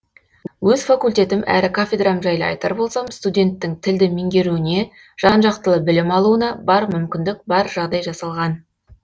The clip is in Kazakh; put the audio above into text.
өз факультетім әрі кафедрам жайлы айтар болсам студенттің тілді меңгеруіне жан жақтылы білім алуына бар мүмкіндік бар жағдай жасалған